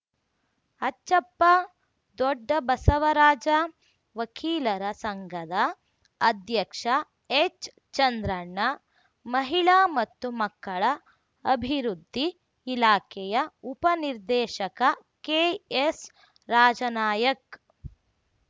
ಅಚ್ಚಪ್ಪ ದೊಡ್ಡ ಬಸವರಾಜ ವಕೀಲರ ಸಂಘದ ಅಧ್ಯಕ್ಷ ಎಚ್‌ಚಂದ್ರಣ್ಣ ಮಹಿಳಾ ಮತ್ತು ಮಕ್ಕಳ ಅಭಿವೃದ್ಧಿ ಇಲಾಖೆಯ ಉಪ ನಿರ್ದೇಶಕ ಕೆಎಸ್‌ರಾಜನಾಯಕ್‌